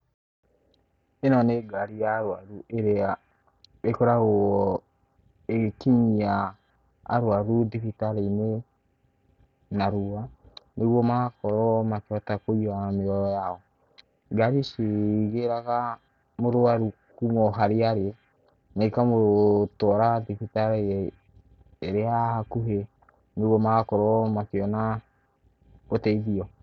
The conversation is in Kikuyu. Ĩno nĩ ngari ya arũaru ĩria ĩkoragwo ĩgĩkinyia arũaru thibitarĩ-inĩ narua, nĩguo magakorwo makĩhota kũiga mĩoyo yao. Ngari ici igĩraga mũrũaru kuma o harĩa arĩ, na ikamutuara thibitarĩ ĩria ĩ hakuhĩ, nĩguo magakorwo makĩona ũteithio.